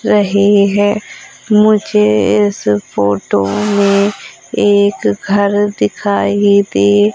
रहे है मुझे इस फोटो में एक घर दिखाई दे --